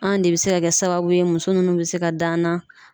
An de bɛ se ka kɛ sababu ye muso minnu bɛ se ka dan na.